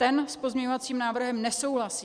Ten s pozměňovacím návrhem nesouhlasí.